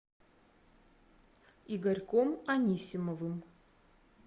игорьком анисимовым